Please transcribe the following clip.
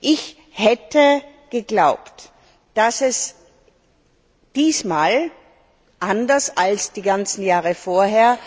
Ich hätte geglaubt, dass diesmal anders als die ganzen Jahre vorher